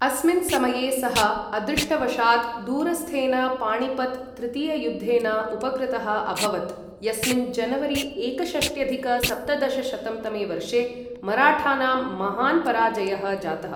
अस्मिन् समये सः अदृष्टवशात् दूरस्थेन पाणिपत् तृतीययुद्धेन उपकृतः अभवत्, यस्मिन् जनवरी एकषष्ट्यधिक सप्तदशशतं तमे वर्षे मराठानां महान् पराजयः जातः।